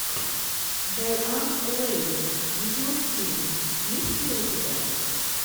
дайан лейн видеофильм есть ли у тебя